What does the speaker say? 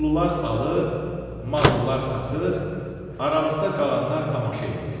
Pullular alır, mallılar satır, aralıqda qalanlar tamaşa eləyirdilər.